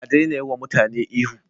A daina yi wa mutane ihu